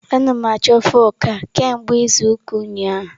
A na m achọ fụk a kemgbe izu ụka ụnyaahụ.